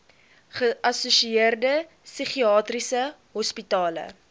geassosieerde psigiatriese hospitale